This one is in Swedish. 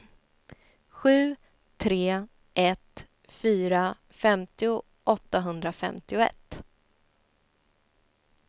sju tre ett fyra femtio åttahundrafemtioett